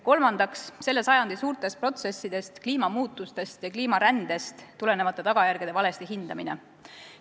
Kolmandaks, selle sajandi suurtest protsessidest, kliimamuutustest ja kliimarändest tulenevate tagajärgede valesti hindamine.